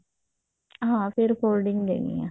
ਹਾਂ ਫ਼ੇਰ folding ਦੇਣੀ ਆ